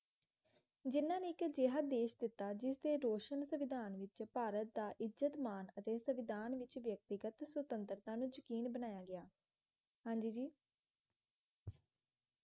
ਜਿਨ੍ਹਾਂ ਨੇ ਇੱਕ ਅਜਿਹਾ ਦੇਸ਼ ਦਿੱਤਾ ਜਿਸਦੇ ਰੋਸ਼ਨ ਸੰਵਿਧਾਨ ਵਿੱਚ ਭਾਰਤ ਦਾ ਇੱਜਤ ਮਾਨ ਅਤੇ ਸਨਵੋਧਣ ਵਿੱਚ ਵਿਅਕਤੀਗਤ ਸੁਤੰਤਰਤਾ ਨੂੰ ਯਕੀਨ ਬਣਾਇਆ ਗਿਆ ਹਾਂ ਜੀ ਜੀ